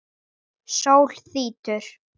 Sól þrýtur.